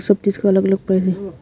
सब चीज का अलग अलग पहनी हो --